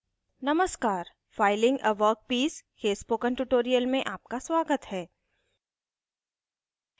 नमस्कार filing a workpiece filing a workpiece के spoken tutorial में आपका स्वागत है